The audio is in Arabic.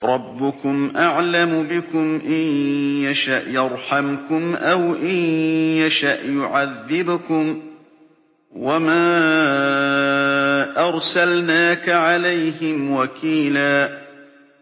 رَّبُّكُمْ أَعْلَمُ بِكُمْ ۖ إِن يَشَأْ يَرْحَمْكُمْ أَوْ إِن يَشَأْ يُعَذِّبْكُمْ ۚ وَمَا أَرْسَلْنَاكَ عَلَيْهِمْ وَكِيلًا